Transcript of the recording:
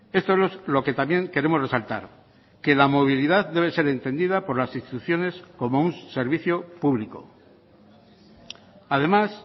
esto es lo que también queremos resaltar que la movilidad debe ser entendida por las instituciones como un servicio público además